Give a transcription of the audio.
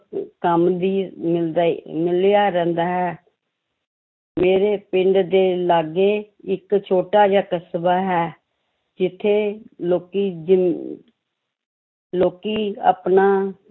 ਕੰਮ ਵੀ ਮਿਲਦਾ ਹੀ ਮਿਲਿਆ ਰਹਿੰਦਾ ਹੈ ਮੇਰੇ ਪਿੰਡ ਦੇ ਲਾਗੇ ਇੱਕ ਛੋਟਾ ਜਿਹਾ ਕਸਬਾ ਹੈ ਜਿੱਥੇ ਲੋਕੀ ਜੋ ਲੋਕੀ ਆਪਣੀ